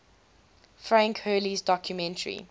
frank hurley's documentary